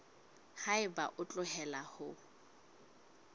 ha eba o hloleha ho